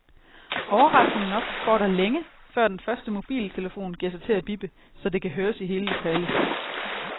Overraskende nok går der længe, før den første mobiltelefon giver sig til at bippe, så det kan høres i hele lokalet.